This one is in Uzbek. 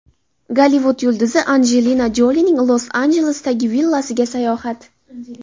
Gollivud yulduzi Anjelina Jolining Los-Anjelesdagi villasiga sayohat .